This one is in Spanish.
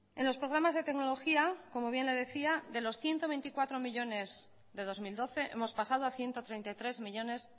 en los programas de tecnología como bien le decía de los ciento veinticuatro millónes de dos mil doce hemos pasado a ciento treinta y tres millónes